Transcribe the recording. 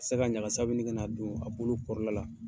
ka ɲagasaw ka na don a bolo kɔrɔla la.